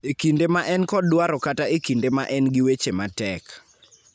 e kinde ma en kod dwaro kata e kinde ma en gi weche matek.